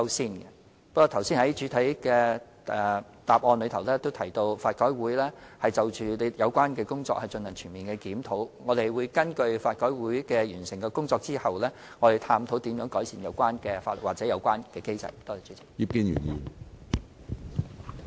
正如我剛才在主體答覆也提到，法改會現正就有關工作進行全面檢討，我們會待法改會完成檢討工作後，根據所得結果探討如何改善有關的法例或機制。